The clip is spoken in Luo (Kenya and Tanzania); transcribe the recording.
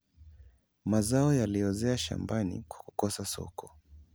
mazao yaliozea shambani kwa kukosa soko